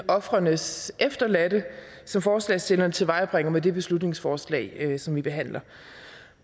ofrenes efterladte som forslagsstillerne tilvejebringer med det beslutningsforslag som vi behandler